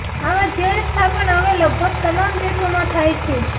આવા જેલ સ્થાપન હવે લગભગ તમામ દેશોમાં થાય છે